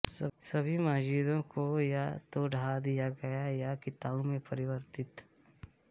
सभी मस्जिदों को या तो ढा दिया गया या कीताउं में परिवर्तित